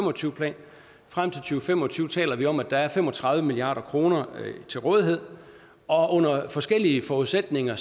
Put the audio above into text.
og tyve plan frem til og fem og tyve taler vi om at der er fem og tredive milliard kroner til rådighed og under forskellige forudsætninger